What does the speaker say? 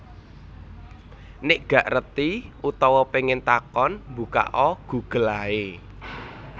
Nek gak ngerti utawa pengen takon mbukak o Google ae